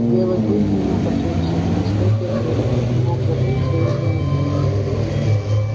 белый клык не мог отречься от наследия предков не мог забыть северную глушь